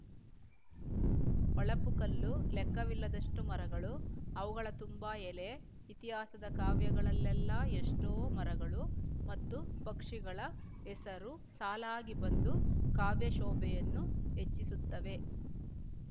ಹೊಳಪುಕಲ್ಲು ಲೆಕ್ಕವಿಲ್ಲದಷ್ಟು ಮರಗಳು ಅವುಗಳ ತುಂಬ ಎಲೆ ಇತಿಹಾಸದ ಕಾವ್ಯಗಳಲ್ಲೆಲ್ಲ ಎಷ್ಟೋ ಮರಗಳು ಮತ್ತು ಪಕ್ಷಿಗಳ ಹೆಸರು ಸಾಲಾಗಿ ಬಂದು ಕಾವ್ಯಶೋಭೆಯನ್ನು ಹೆಚ್ಚಿಸುತ್ತವೆ